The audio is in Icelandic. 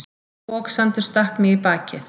Foksandur stakk mig í bakið.